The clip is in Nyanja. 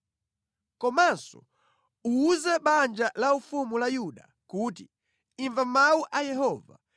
“Komanso, uwuze banja laufumu la Yuda kuti, ‘Imva mawu a Yehova;